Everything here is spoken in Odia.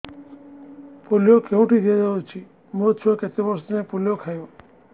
ପୋଲିଓ କେଉଁଠି ଦିଆଯାଉଛି ମୋ ଛୁଆ କେତେ ବର୍ଷ ଯାଏଁ ପୋଲିଓ ଖାଇବ